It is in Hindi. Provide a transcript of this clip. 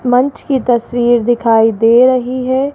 मंच की तस्वीर दिखाई दे रही है।